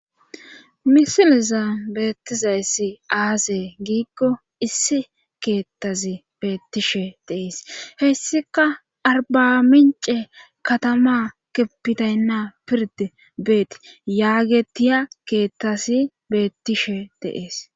Misiliza beettizayssi aaze giikko issi keettazi beettishe deees hessika arbamince katama keppitaynna pirde beeti yaagetiya keettasi beettishe deees.